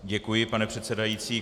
Děkuji, pane předsedající.